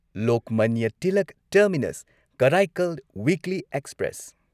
Lokmanya Tilak terminus Karaikal weekly express